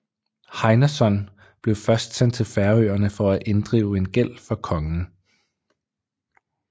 Heinason blev først sendt til Færøerne for at inddrive en gæld for kongen